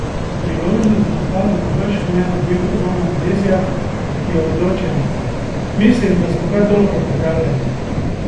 Priložnost v napadu bo bržkone dobil Roman Bezjak, ki je odločen: 'Mislim, da smo kar dobro pripravljeni.